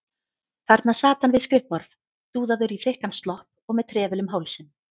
Þarna sat hann við skrifborð, dúðaður í þykkan slopp og með trefil um hálsinn.